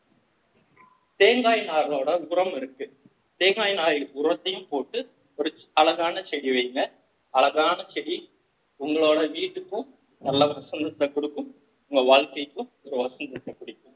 தேங்காய் நாரோட உரம் இருக்கு தேங்காய் நாரில் உரத்தையும் போட்டு ஒரு செ~ அழகான செடி வையுங்க அழகான செடி உங்களோட வீட்டுக்கும் நல்ல வசந்தத்தை கொடுக்கும் உங்க வாழ்க்கைக்கும் ஒரு வசந்தத்தை கொடுக்கும்